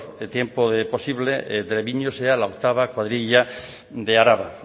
tiempo posible treviño sea la octava cuadrilla de araba